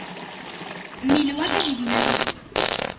mmele wa ka di binabine